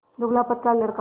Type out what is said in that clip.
दुबलापतला लड़का